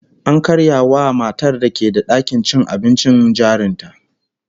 An karya wa matar da ke da dakin cin abincin jarin ta